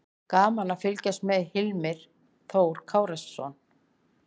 Gaman að fylgjast með: Hilmar Þór Kárason.